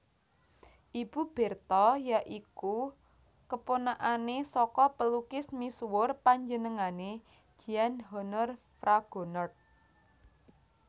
Ibu Bertha ya iku keponakanane saka pelukis misuwur panjenengané Jean Honoré Fragonard